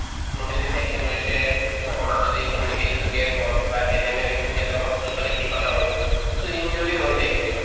কোনোবাই যদি vaccine লৈছে সেইটো সময়ত যদি communication তো gap হল বা ANM য়ে vaccine দিয়াতে অলপ ইফালে-সিফালে হৈ গল to injury হৈ যায় কেতিয়াবা